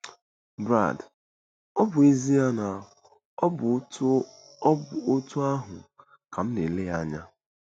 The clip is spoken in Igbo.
Brad: Ọ bụ ezie na ọ bụ otú ọ bụ otú ahụ ka m na-ele ya anya.